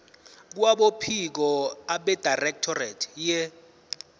kwabophiko abedirectorate ye